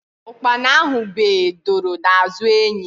Ukpana ahụ bee doro n'azụ enyi